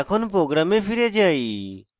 এখন program ফিরে যাই